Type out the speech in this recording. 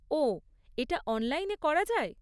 ওহ, এটা অনলাইনে করা যায়?